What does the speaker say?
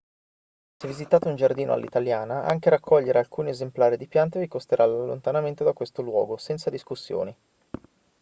se visitate un giardino all'italiana anche raccogliere alcuni esemplari di piante vi costerà l'allontanamento da questo luogo senza discussioni